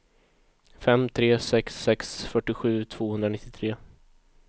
fem tre sex sex fyrtiosju tvåhundranittiotre